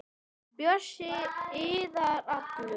Bjössi iðar allur.